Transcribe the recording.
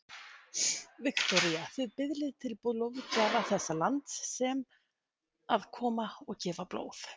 Viktoría: Þið biðlið til blóðgjafa þessa lands sem að koma og gefa blóð?